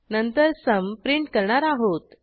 नंतर sumप्रिंट करणार आहोत